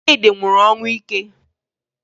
Chidi nwụrụ ọnwụ ike